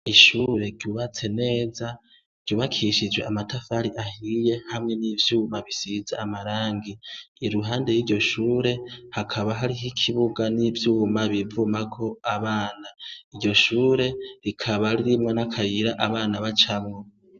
Ishure ryubatse neza ryubakishije amatafari ahiye hamwe n' ivyuma bisize amarangi iruhande y' iryo shure hakaba hariho ikibuga n' ivyuma bivumako abana iryo shure rikaba ririmwo n' akayira abanacamwo.